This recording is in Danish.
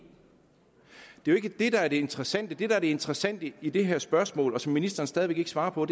det er jo ikke det der er det interessante det der er det interessante i det her spørgsmål og som ministeren stadig væk ikke svarer på